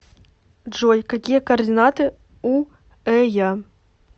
джой какие координаты у эя